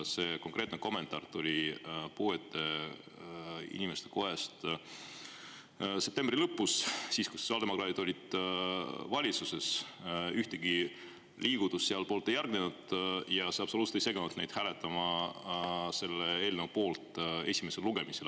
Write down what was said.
See konkreetne kommentaar tuli puuetega inimeste kojast septembri lõpus – siis, kui sotsiaaldemokraadid olid valitsuses –, ühtegi liigutust seal poolt ei järgnenud ja see absoluutselt ei seganud neid hääletamast selle eelnõu poolt esimesel lugemisel.